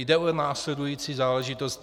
Jde o následující záležitost.